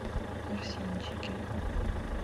арсенчике